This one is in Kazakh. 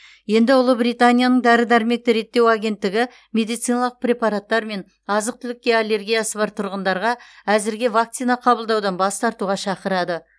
енді ұлыбританияның дәрі дәрмекті реттеу агенттігі медициналық препараттар мен азық түлікке аллергиясы бар тұрғындарға әзірге вакцина қабылдаудан бас тартуға шақырады